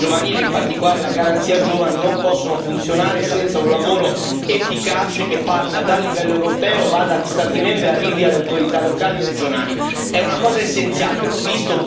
È chiaro che l'Iniziativa per l'occupazione giovanile, in particolare la Garanzia giovani, non possono funzionare senza un lavoro efficace che parta dal livello europeo, vada agli Stati membri e arrivi alle autorità locali e regionali.